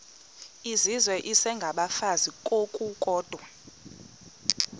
izizwe isengabafazi ngokukodwa